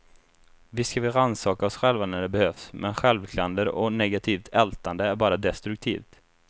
Visst ska vi rannsaka oss själva när det behövs, men självklander och negativt ältande är bara destruktivt.